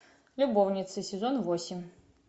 любовницы сезон восемь